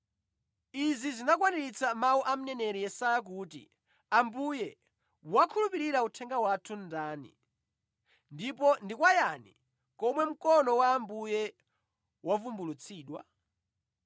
Izi zinakwaniritsa mawu a mneneri Yesaya kuti: “Ambuye, wakhulupirira uthenga wathu ndani, ndipo ndi kwa yani komwe mkono wa Ambuye wavumbulutsidwa?”